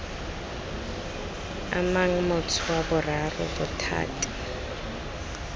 amang motho wa boraro bothati